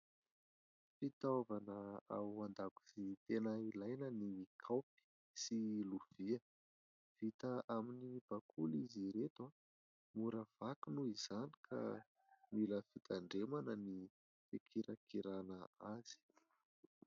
Fitaovana ao an-dakozia tena ilaina ny kaopy sy lovia. Vita amin'ny bakoly izy ireto, mora vaky noho izany ka mila fitandremana ny fikirakirana azy.